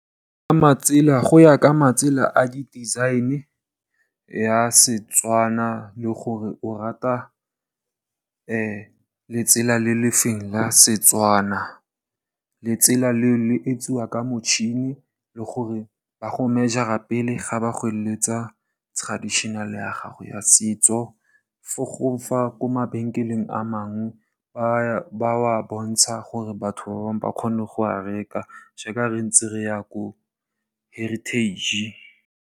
Ke matsela, go ya ka matsela a di design ya Setswana le gore o rata letsela le le feng la Setswana. Letsela leo le etsiwa ka motšhini le gore ba go mejara pele ga ba go eletsa traditional ya gago ya setso. Fo gongwe ko mabenkeleng a mangwe ba wa bontsha gore batho ba bangwe ba kgone go wa reka jaaka re ntse re ya ko heritage.